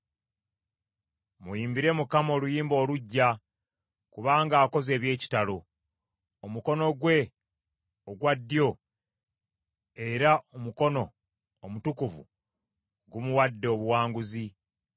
Muyimbire Mukama oluyimba oluggya, kubanga akoze eby’ekitalo. Omukono gwe ogwa ddyo, era omukono omutukuvu, gumuwadde obuwanguzi.